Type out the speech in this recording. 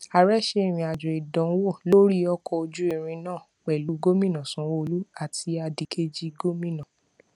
ààrẹ ṣe ìrìn àjò ìdánwò lórí ọkọ ojú irin náà pẹlú gómìnà sanwoolu àti adìkejì gómìnà